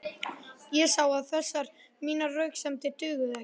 Ég sá að þessar mínar röksemdir dugðu ekki.